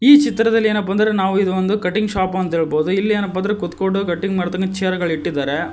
ಈ ಚಿತ್ರದಲ್ಲಿ ಏನಪ್ಪಾ ಅಂದ್ರೆ ನಾವು ಇದೊಂದು ಕಟಿಂಗ್ ಶಾಪ್ ಅಂತ ಹೇಳಬಹುದು ಇಲ್ಲಿ ಏನಪ್ಪಾ ಅಂದ್ರೆ ಕೂತ್ಕೊಂಡು ಮಾಡ್ತಾನ ಚೇರ್ಗಳ್ ಇಟ್ಟಿದ್ದಾರೆ.